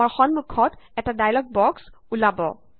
আমাৰ সমুখত এটা ডায়লগ বক্স ওলাব